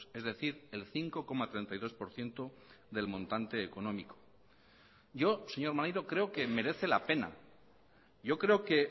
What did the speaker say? es decir el cinco coma treinta y dos por ciento del montante económico yo señor maneiro creo que merece la pena yo creo que